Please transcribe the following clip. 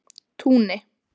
Túni